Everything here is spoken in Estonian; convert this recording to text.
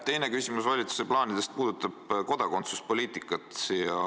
Teine küsimus valitsuse plaanide kohta puudutab kodakondsuspoliitikat.